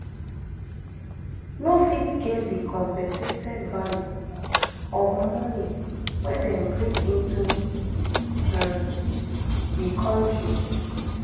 no fit get di compensated value of money wey dem bring into um di kontri